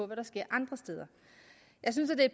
hvad der sker andre steder jeg synes at